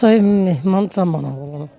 Musayev Mehman Caman oğlunum.